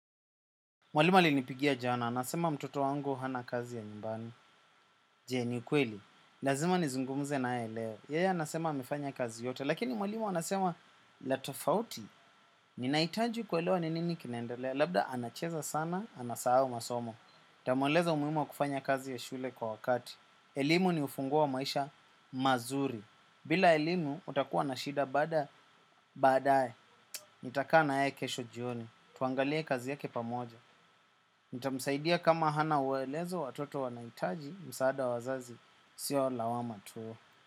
Mwalimu ali nipigia jana, anasema mtoto wangu hana kazi ya nyumbani. Je ni ukweli, lazima nizungumze na yeleo. Yeye anasema amefanya kazi yote, lakini mwalimu anasema latofauti, ninahitaji kuelewa ninini kinaendelea. Labda anacheza sana, anasahau masomo. Tamweleza umuhimuwa kufanya kazi ya shule kwa wakati. Elimu ni ufunguowa maisha mazuri. Bila elimu, utakuwa na shida baada, baadaye. Nitakaa na ye kesho jioni, tuangalie kazi yake pamoja. Nita msaidia kama hana uelezo watoto wanahitaji, msaadawa wazazi, siyo lawa matu.